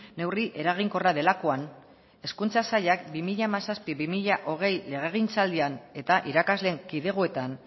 neurri eraginkorra delakoan hezkuntza sailak bi mila hamazazpi bi mila hogei legegintzaldian eta irakasleen kidegoetan